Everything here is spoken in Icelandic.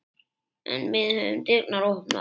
En við höfum dyrnar opnar